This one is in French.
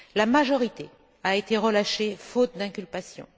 La majorité a été relâchée faute d'inculpation.